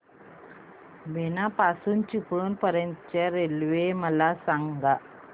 बीना पासून चिपळूण पर्यंत च्या रेल्वे मला सांगा